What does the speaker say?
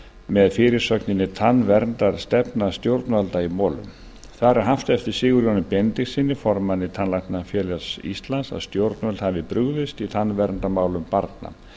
með fyrirsögninni tannverndarstefna stjórnvalda í molum þar er haft eftir sigurjóni benediktssyni formanni tannlæknafélags íslands að stjórnvöld hafi brugðist í tannverndarmálum barna